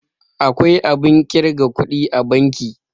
akwai abin kirga kudi a banki